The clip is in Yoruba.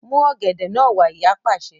Mú ọ̀gẹ̀dẹ̀ náà wá! Ìyá pàṣẹ.